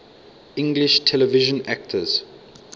english television actors